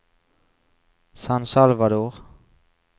San Salvador